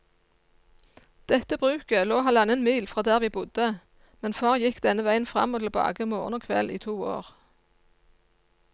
Dette bruket lå halvannen mil fra der vi bodde, men far gikk denne veien fram og tilbake morgen og kveld i to år.